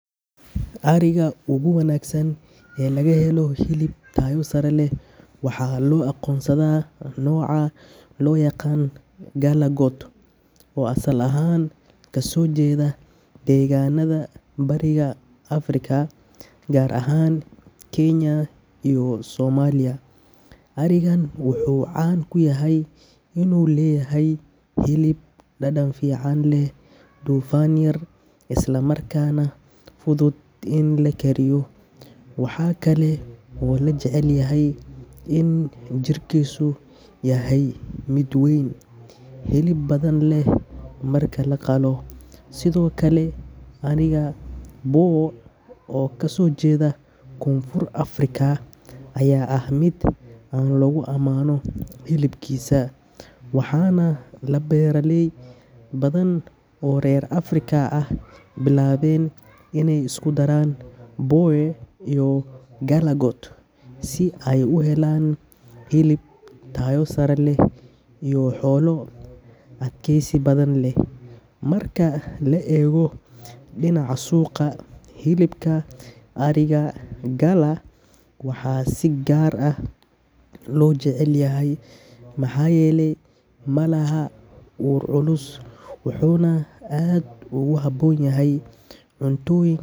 Ariga ugu wanaagsan ee laga helo hilib tayo sare leh waxaa loo aqoonsadaa nooca loo yaqaan Galla goat oo asal ahaan kasoo jeeda deegaanada bariga Afrika gaar ahaan Kenya iyo Soomaaliya. Arigan wuxuu caan ku yahay inuu leeyahay hilib dhadhan fiican leh, dufan yar, islamarkaana fudud in la kariyo. Waxaa kale oo la jecel yahay in jirkiisu yahay mid weyn, hilib badanna leh marka la qalo. Sidoo kale, ariga Boer oo kasoo jeeda Koonfur Afrika ayaa ah mid aad loogu ammaano hilibkiisa, waxaana beeraley badan oo reer Afrika ah ay bilaabeen iney isku daraan Boer iyo Galla goat si ay u helaan hilib tayo sare leh iyo xoolo adkeysi badan leh. Marka la eego dhinaca suuqa, hilibka ariga Galla waxaa si gaar ah loo jecel yahay maxaa yeelay ma laha ur culus, wuxuuna aad ugu habboon yahay cuntooyin.